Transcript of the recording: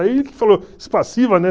Aí ele falou, né?